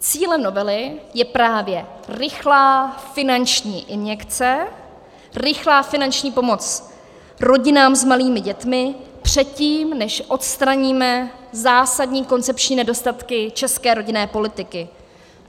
Cílem novely je právě rychlá finanční injekce, rychlá finanční pomoc rodinám s malými dětmi předtím, než odstraníme zásadní koncepční nedostatky české rodinné politiky.